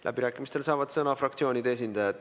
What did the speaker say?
Läbirääkimistel saavad sõna fraktsioonide esindajad.